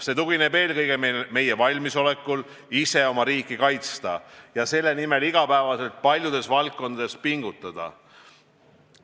See tugineb eelkõige meie valmisolekul ise oma riiki kaitsta ja selle nimel iga päev paljudes valdkondades pingutada.